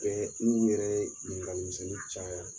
un yɛrɛ ɲininkali misɛnnin caya